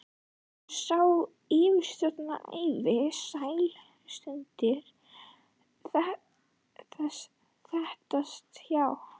Sá hann yfirsjón ævinnar, sælustundirnar þeytast hjá?